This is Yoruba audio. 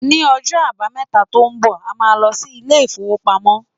Ní ọjọ́ àbámẹ́ta tó ń bọ̀, a máa lọ sí ilé-ìfowópamọ́.